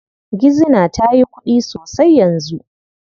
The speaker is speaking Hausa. Gizina ta yi kuɗi sosai yanzu.